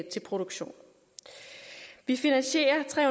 til produktion vi finansierer tre